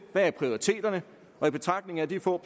hvad er prioriteterne og i betragtning af de få